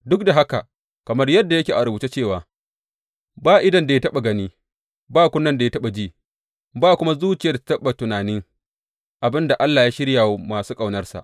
Duk da haka, kamar yadda yake a rubuce cewa, Ba idon da ya taɓa gani, ba kunnen da ya taɓa ji, ba kuma zuciyar da ta taɓa tunanin abin da Allah ya shirya wa masu ƙaunarsa.